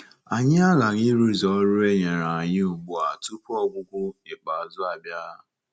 Anyị aghaghị ịrụzu ọrụ e nyere anyị ugbu a tupu ọgwụgwụ ikpeazụ abịa.